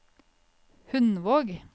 Hundvåg